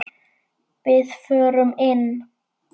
Við förum inn!